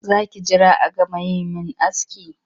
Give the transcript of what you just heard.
Za ki jira a gama yi min aski?